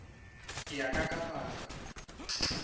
ya ka ka ba ka